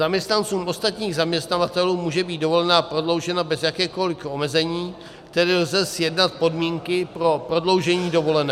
Zaměstnancům ostatních zaměstnavatelů může být dovolená prodloužena bez jakéhokoliv omezení, tedy lze sjednat podmínky pro prodloužení dovolené.